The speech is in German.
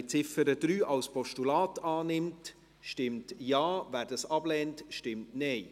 Wer die Ziffer 3 als Postulat annimmt, stimmt Ja, wer diese ablehnt, stimmt Nein.